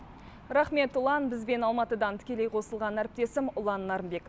рахмет ұлан бізбен алматыдан тікелей қосылған әріптесім ұлан нарынбек